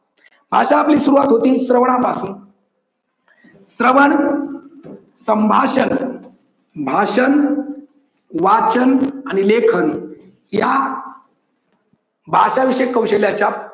भाषा आपली सुरुवात होते श्रवणापासून श्रवण, संभाषण, भाषण, वाचन आणि लेखन या भाषा विषयी कौशल्याच्या